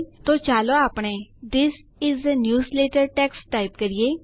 તો ચાલો આપણે this is a newsletter text type કરીએ